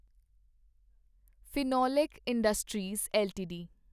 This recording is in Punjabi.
Finolex industries LTD